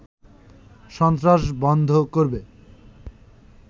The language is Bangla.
সন্ত্রাস বন্ধ করবে